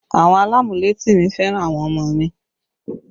Àwọn alamuleti mi fẹ́ràn àwọn ọmọ mi